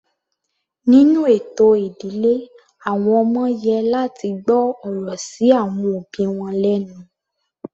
Nínú ètò ìdílé àwọn ọmọ yẹ láti gbọ́ ọ̀rọ̀ sí àwọn òbí wọn lẹ́nu.